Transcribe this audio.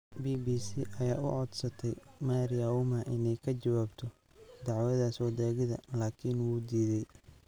BBC ayaa u codsatay Mary Auma inay ka jawaabto dacwadaas wadaagida, laakiin wuu diidey.